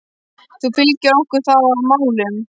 Þú fylgir okkur þá að málum?